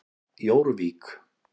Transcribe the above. Jórvík